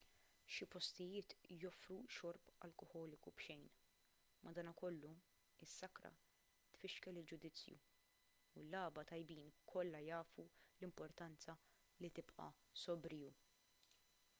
xi postijiet joffru xorb alkoħoliku b'xejn madankollu is-sakra tfixkel il-ġudizzju u l-lagħba tajbin kollha jafu l-importanza li tibqa' sobriju